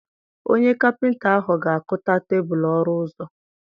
Onye Kapịnta ahụ ga-akụta tebụlụ ọrụ ọzọ.